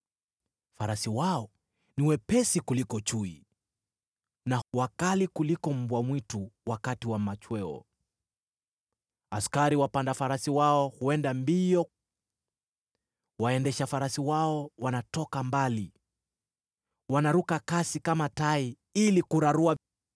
Farasi wao ni wepesi kuliko chui, na wakali kuliko mbwa mwitu wakati wa machweo. Askari wapanda farasi wao huenda mbio; waendesha farasi wao wanatoka mbali. Wanaruka kasi kama tai ili kurarua;